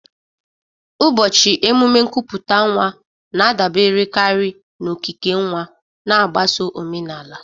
Ụbọchị emume nkupute nwa na-adaberekarị na okike nwa, na-agbaso omenala.